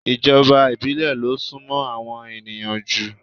Ìjọba ìbílẹ̀ lo súnmó àwọn ènìyàn jù